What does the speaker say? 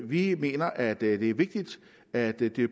vi mener at det er vigtigt at det det